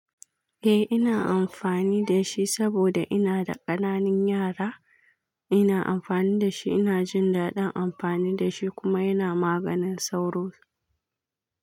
Eh ina amfani da shi saboda ina da ƙananan yara. Ina amfani da shi, ina jin daɗin amfani da shi kuma yana maganin sauro.